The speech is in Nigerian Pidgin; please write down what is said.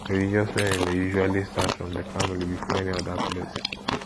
religious learning dey usually start from di family before any oda place